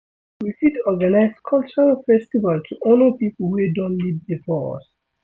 we fit organise culural festival to honour pipo wey don live before us